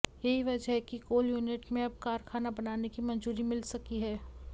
यही वजह है कि कोल यूनिट में अब कारखाना बनाने की मंजूरी मिल सकी है